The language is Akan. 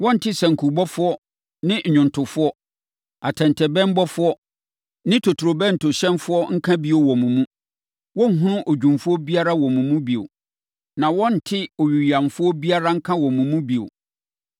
Wɔrente sankubɔfoɔ ne nnwomtofoɔ, atɛntɛbɛnbɔfoɔ ne totorobɛntohyɛnfoɔ nka bio wɔ mo mu. Wɔrenhunu odwumfoɔ biara wɔ wo mu bio. Na wɔrente owiyamfoɔ biara nka wɔ wo mu bio.